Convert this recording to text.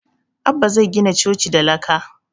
Abbah zai gina coci da laka